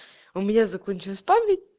у меня закончилась память